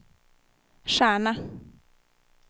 stjärna